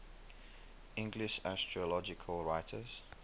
english astrological writers